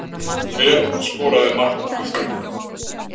Hver skoraði mark Íslendinga?